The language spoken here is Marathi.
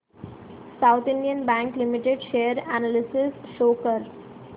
south Indian bank limited share analysis show कर